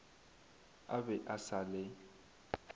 a be a sa le